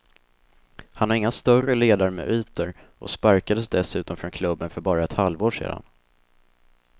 Han har inga större ledarmeriter och sparkades dessutom från klubben för bara ett halvår sedan.